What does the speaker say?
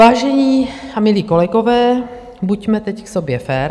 Vážení a milí kolegové, buďme teď k sobě fér.